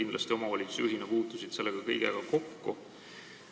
Sa omavalitsusjuhina puutusid selle kõigega kindlasti kokku.